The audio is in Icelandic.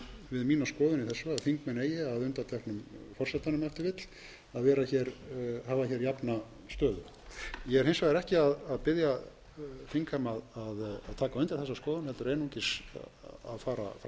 við mína skoðun í þessu að þingmenn eða að undanteknum forsetanum ef til vill að hafa hér jafna stöðu ég er hins vegar ekki að biðja þingheim að taka undir þessa skoðun heldur einungis að fara fram á ásamt meðflutningsmanni